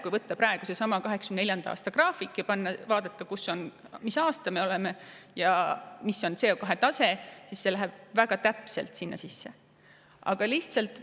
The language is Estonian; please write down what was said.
Kui võtta 1984. aastal valminud graafik ja vaadata, mis aastas me praegu oleme ja milline on CO2 tase, siis see läheb väga täpselt sinna sisse.